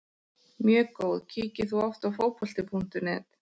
Mjög góð Kíkir þú oft á Fótbolti.net?